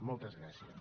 moltes gràcies